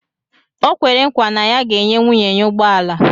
O kwere nkwa na ya ga-enye nwunye ya ụgbọ ala